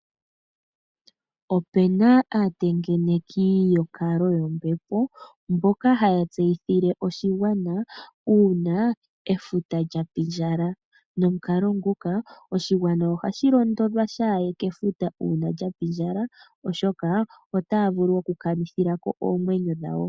Opena aatengeneki yonkalo yombepo, mboka haya tseyithile oshigwana uuna efuta lyapi ndjala, nomukalo nguka oshigwana ohashi londodhwa shaaye kefuta uuna lyapi ndjala oshoka otaavulu okukanithilako oomwenyo dhawo.